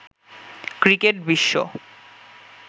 cricket Biswa